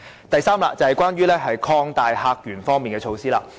第三，是關於擴大客源方面的措施。